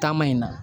Taama in na